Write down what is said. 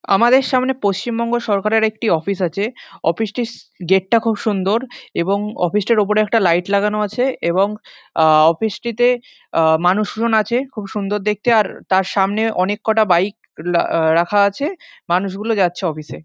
আমাদের সামনে পশ্চিমবঙ্গ সরকারের একটি অফিস আছে অফিস টির গেট টা খুব সুন্দর এবং অফিস টার ওপরে একটা লাইট লাগানো আছে এবং অ-অ অফিস টিতে মানুষ জন আছে খুব সুন্দর দেখতে আর তার সামনে অনেক কটা বাইক রাখা আছে মানুষ গুলো যাচ্ছে অফিস এ।